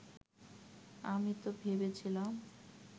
আমি তো ভেবেছিলাম